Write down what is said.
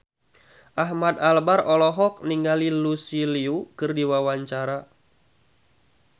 Ahmad Albar olohok ningali Lucy Liu keur diwawancara